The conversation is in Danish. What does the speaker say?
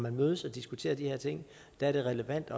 man mødes og diskuterer de her ting er relevant